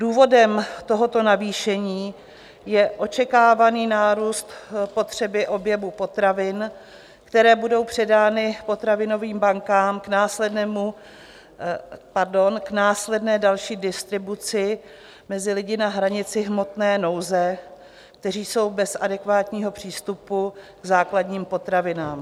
Důvodem tohoto navýšení je očekávaný nárůst potřeby objemu potravin, které budou předány potravinovým bankám k následné další distribuci mezi lidi na hranici hmotné nouze, kteří jsou bez adekvátního přístupu k základním potravinám.